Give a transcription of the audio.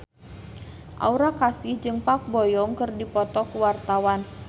Aura Kasih jeung Park Bo Yung keur dipoto ku wartawan